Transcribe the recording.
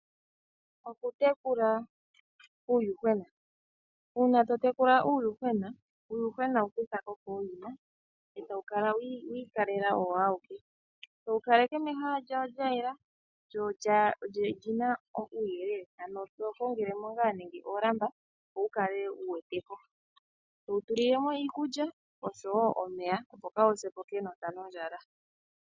Oku tekula uuyuhwena Uuna to tekula uuyuhwena, uuyuhwena wu kutha ko kooyina e tawu kala wi ikalela owo awuke towu kaleke mehala lyawo lyayela, lyo olyina uuyelele, to kongele mo ngaa nenge oolamba opo wu kale wu wete ko, towu tulilemo iikuly oshowo omeya, opo kaawu se po kenota nondjala.